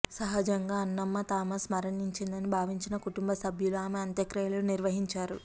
సహజంగా అణ్ణమ్మ థామస్ మరణించిందని భావించిన కుటుంబ సభ్యులు ఆమె అంత్యక్రియలు నిర్వహించారు